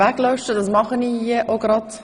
Ich lösche das Resultat.